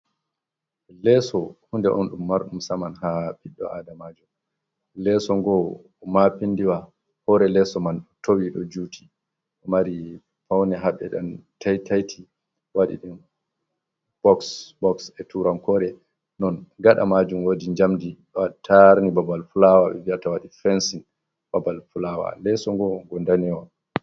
Leeso, hunde on ɗum marɗum saman ha ɓiɗɗo Aadamaajo, leeso ngoo maapindiwo, hoore leeso man towi, ɗo juuti, ɗo mari fawne ha ɓe ɗon tai-tai-ti, waɗi ɗi boks-boks e tuurankoore. Non gaɗa maajum woodi jamɗe ɗo taarni babal fulaawa ɓe vi'ata waɗi fensin babal fulaawa, leeso ngon ngo danewo.